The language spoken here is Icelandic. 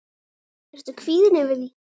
Ertu kvíðinn yfir því?